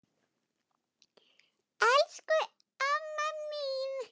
Elsku, elsku amma mín.